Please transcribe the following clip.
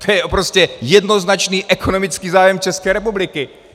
To je prostě jednoznačný ekonomický zájem České republiky!